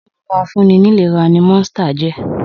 Ohun-mímu afúnni-nílera ni ìlera ni Monster jẹ́.